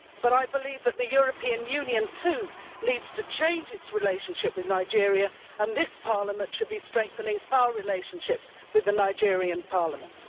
However, I believe that the European Union too needs to change its relationship with Nigeria and that this Parliament should be strengthening its relationships with the Nigerian Parliament.